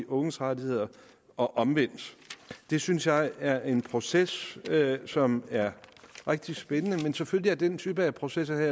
unges rettigheder og omvendt det synes jeg er en proces som er rigtig spændende men selvfølgelig er den type processer